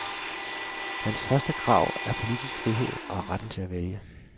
Hans første krav er politisk frihed og retten til at vælge.